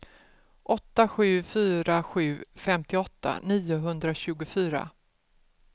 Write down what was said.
åtta sju fyra sju femtioåtta niohundratjugofyra